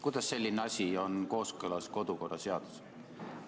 Kuidas on selline asi kooskõlas kodu- ja töökorra seadusega?